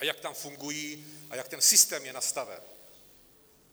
A jak tam fungují a jak ten systém je nastaven.